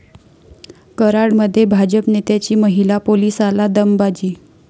कराडमध्ये भाजप नेत्याची महिला पोलिसाला दमबाजी